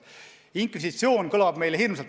Inkvisitsioon kõlab hirmsalt.